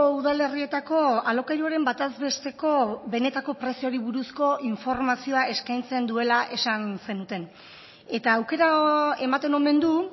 udalerrietako alokairuaren bataz besteko benetako prezioari buruzko informazioa eskaintzen duela esan zenuten eta aukera ematen omen du